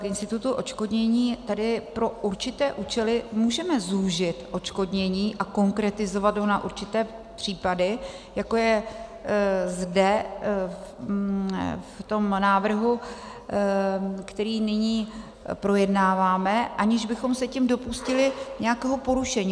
V institutu odškodnění tedy pro určité účely můžeme zúžit odškodnění a konkretizovat ho na určité případy, jako je zde v tom návrhu, který nyní projednáváme, aniž bychom se tím dopustili nějakého porušení.